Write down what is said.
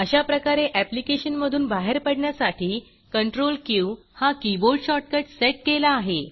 अशाप्रकारे ऍप्लिकेशन मधूनबाहेर पडण्यासाठी Ctrl क्यू हा कीबोर्ड शॉर्टकट सेट केला आहे